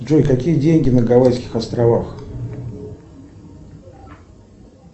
джой какие деньги на гавайских островах